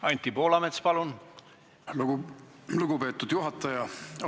Aitäh, lugupeetud juhataja!